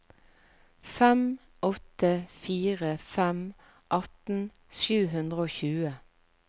fem åtte fire fem atten sju hundre og tjue